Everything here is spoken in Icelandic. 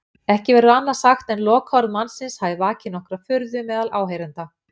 Ekki verður annað sagt en lokaorð mannsins hafi vakið nokkra furðu meðal áheyrenda.